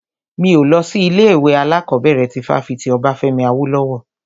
Mi ò lọ sí ilé ìwé alákọ̀bẹ̀rẹ̀ ti fáfitì Obafemi Awolowo.